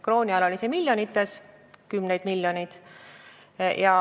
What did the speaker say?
Krooni ajal oli see võlg kümnetes miljonites.